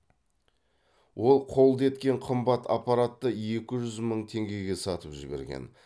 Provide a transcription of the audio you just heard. ол қолды еткен қымбат аппаратты екі жүз мың теңгеге сатып жіберген